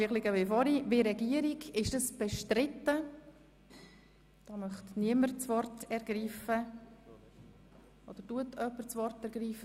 Wird der Antrag der Regierung bestritten, gibt es Wortmeldungen?